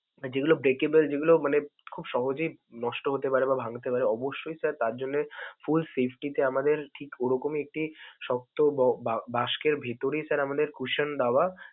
যেগুলো breakable যেগুলো মানে খুব সহজেই নষ্ট হতে পারে বা ভাংতে পারে, অবশ্যই sir তারজন্যে full safety আমাদের ঠিক ওরকমই একটি শক্ত বক~ বাস্কের ভিতরেই sir আমাদের কুশন দেওয়া.